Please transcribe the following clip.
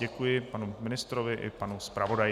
Děkuji panu ministrovi i panu zpravodaji.